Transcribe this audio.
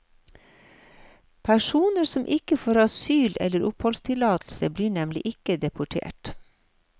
Personer som ikke får asyl eller oppholdstillatelse, blir nemlig ikke deportert.